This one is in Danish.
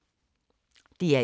DR1